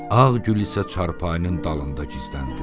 Ağ Gül isə çarpayının dalında gizləndi.